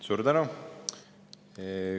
Suur tänu!